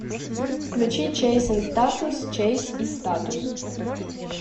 включи чейз энд статус чейз и статус